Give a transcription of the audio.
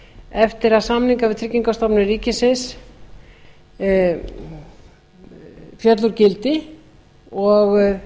eftir að samningar við tryggingastofnun ríkisins féll úr gildi og